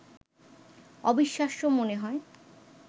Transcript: অবিশ্বাস্য মনে হয়